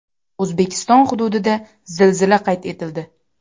O‘zbekiston hududida zilzila qayd etildi.